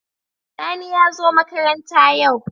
Sani yazo makaranta yau